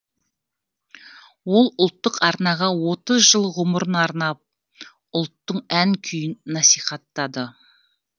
ол ұлттық арнаға отыз жыл ғұмырын арнап ұлттың ән күйін насихаттады